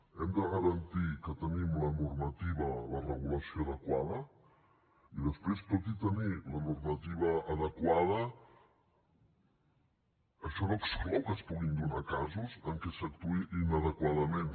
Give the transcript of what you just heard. hem de garantir que tenim la normativa la regulació adequada i després tot i tenir la normativa adequada això no exclou que es puguin donar casos en què s’actuï inadequadament